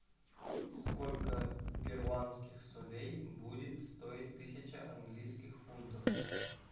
сколько перуанских солей будет стоить тысяча английских фунтов